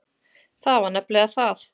Það var nefnilega það.